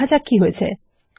দেখা যাক কি হয়েছে